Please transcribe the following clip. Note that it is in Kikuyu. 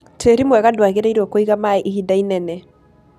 Tĩri mwega ndwagĩrĩirwo kũiga maĩ ihinda inene.